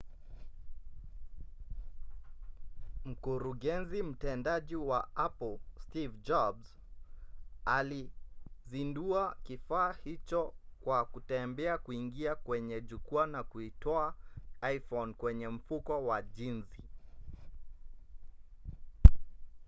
mkurugenzi mtendaji wa apple steve jobs alizindua kifaa hicho kwa kutembea kuingia kwenye jukwaa na kuitoa iphone kwenye mfuko wake wa jinzi